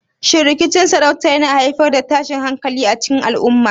Shin rikicin sarauta yana haifar da tashin hankali a cikin al'umma?